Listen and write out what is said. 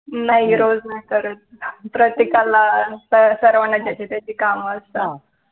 नाही रोज नाही करत प्रत्येकाला सर्वाना ज्याची त्याची काम असतात